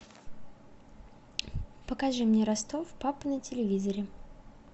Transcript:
покажи мне ростов папа на телевизоре